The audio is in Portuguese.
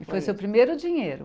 E foi seu primeiro dinheiro?